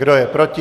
Kdo je proti?